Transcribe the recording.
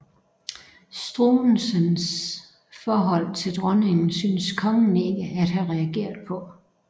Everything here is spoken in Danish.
Struensees forhold til dronningen synes kongen ikke at have reageret på